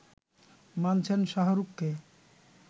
মানছেন শাহরুখকে